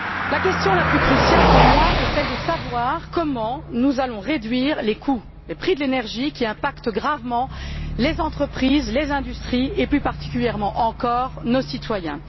La question la plus cruciale pour moi est celle de savoir comment nous allons réduire les coûts, les prix de l'énergie qui pèsent lourdement sur les entreprises, sur les industries et plus particulièrement encore sur nos citoyens.